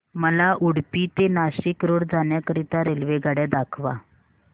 मला उडुपी ते नाशिक रोड जाण्या करीता रेल्वेगाड्या दाखवा